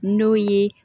N'o ye